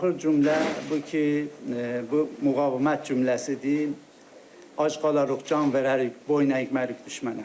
Axır cümlə bu ki, bu müqavimət cümləsidir, ac qalırıq, can verərik, boyun əymərik düşmənə.